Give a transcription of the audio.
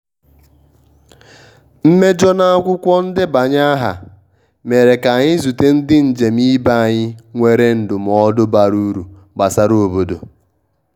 mmejọ n`akwụkwọ ndebanye aha mere ka-anyị zute ndi njem ibe anyị nwere ndụmodụ bara uru gbasra obodo